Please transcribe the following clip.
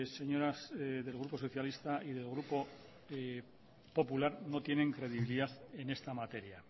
señoras del grupo socialista y del grupo popular no tienen credibilidad en esta materia